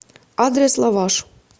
адрес лаваш